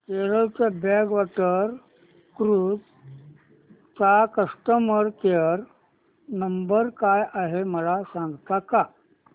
Kerala backwater cruise चा customer care number काय आहे मला सांगता का